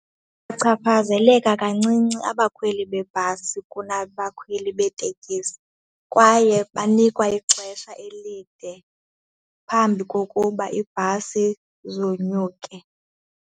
Bachaphazeleka kancinci abakhweli beebhasi kunabakhweli beetekisi kwaye banikwa ixesha elide phambi kokuba iibhasi zonyuke.